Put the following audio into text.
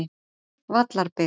Vallarbyggð